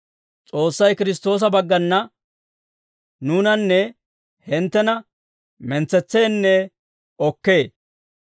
S'oossay Kiristtoosa baggana nuunanne hinttena mentsetseenne okkee.